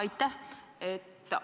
Aitäh!